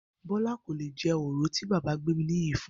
Bó̩lá kò lè je̩ òro tí bàbá Gbéminiyì fun